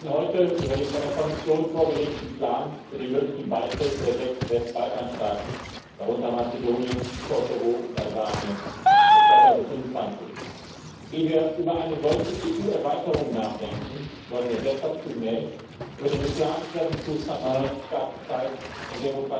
Wir reden heute über den von der Kommission vorgelegten Plan für den möglichen Beitritt der sechs Westbalkan Staaten, darunter Mazedonien, Kosovo und